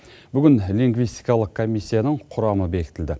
бүгін лингвистикалық комиссияның құрамы бекітілді